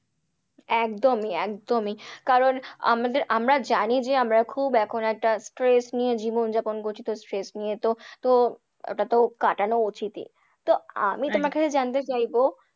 একদমই একদমই। কারণ আমরা জানি যে আমরা খুব এখন একটা stress নিয়ে জীবনযাপন করছি তো stress নিয়ে তো একটা তো কাটানো উচিতই। তো আমি তোমার কাছে জানতে চাইবো,